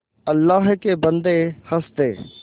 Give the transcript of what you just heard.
अल्लाह के बन्दे हंस दे